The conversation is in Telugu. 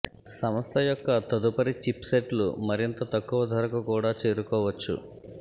సంస్థ యొక్క తదుపరి చిప్సెట్లు మరింత తక్కువ ధరకు కూడా చేరుకోవచ్చు